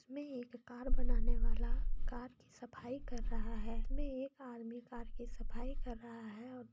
इसमें एक कार बनाने वाला कार की सफाई कर रहा है इसमे एक आदमी कार की सफाई कर रहा है।